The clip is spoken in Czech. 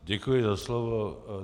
Děkuji za slovo.